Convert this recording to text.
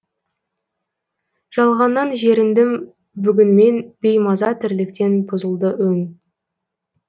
жалғаннан жеріндім бүгін мен беймаза тірліктен бұзылды өң